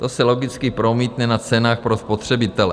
To se logicky promítne na cenách pro spotřebitele.